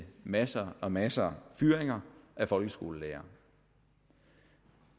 masser og masser af fyringer af folkeskolelærere